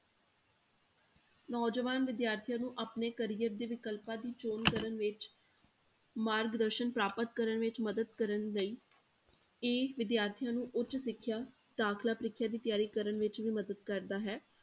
ਨੌਜਵਾਨ ਵਿਦਿਆਰਥੀਆਂ ਨੂੰ ਆਪਣੇ career ਦੇ ਵਿਕਲਪਾਂ ਦੀ ਚੌਣ ਕਰਨ ਵਿੱਚ ਮਾਰਗਦਰਸ਼ਨ ਪ੍ਰਾਪਤ ਕਰਨ ਵਿੱਚ ਮਦਦ ਕਰਨ ਲਈ, ਇਹ ਵਿਦਿਆਰਥੀਆਂ ਨੂੰ ਉੱਚ ਸਿੱਖਿਆ ਦਾਖਲਾ ਪ੍ਰੀਖਿਆ ਦੀ ਤਿਆਰੀ ਕਰਨ ਵਿੱਚ ਵੀ ਮਦਦ ਕਰਦਾ ਹੈ।